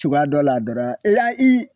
Cogoya dɔ la dɔrɔn e y'a i